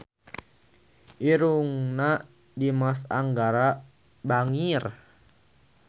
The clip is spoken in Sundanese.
Irungna Dimas Anggara bangir